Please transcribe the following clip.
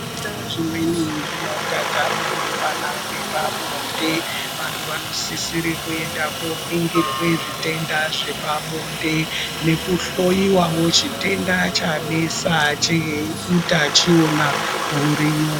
Zvitenda zvimweni zvinotatapurirwana ngepabonde, vantu vanosisisire kuenda koningirwe zvitenda zvepabonde nekuhloyiwawo chitenda chanesa cheutachiona huriyo.